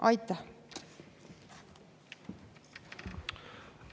Aitäh!